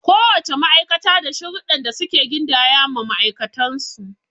Ko wace ma'aikata da sharuɗdɗan da suke gindaya ma ma'aikatan su.